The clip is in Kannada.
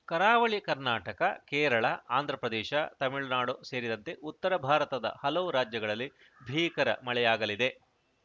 ಕರಾವಳಿ ಕರ್ನಾಟಕ ಕೇರಳ ಆಂಧ್ರ ಪ್ರದೇಶ ತಮಿಳುನಾಡು ಸೇರಿದಂತೆ ಉತ್ತರ ಭಾರತದ ಹಲವು ರಾಜ್ಯಗಳಲ್ಲಿ ಭೀಕರ ಮಳೆಯಾಗಲಿದೆ